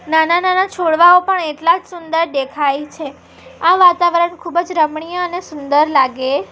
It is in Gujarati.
નાના-નાના છોડવાઓ પણ એટલા જ સુંદર દેખાય છે આ વાતાવરણ ખૂબ જ રમણીય અને સુંદર લાગે--